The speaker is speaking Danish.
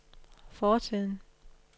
fortiden